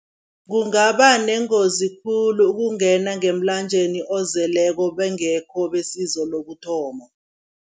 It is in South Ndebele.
Kungaba nengozi khulu ukungena ngemlanjeni ozeleko bangekho besizo lokuthoma.